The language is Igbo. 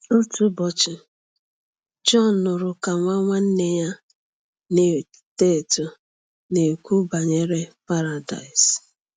Otu ụbọchị, John nụrụ ka nwa nwanne ya na-eto eto na-ekwu banyere Paradaịs.